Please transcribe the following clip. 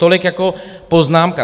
Tolik jako poznámka.